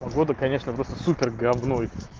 погода конечно просто супер гавно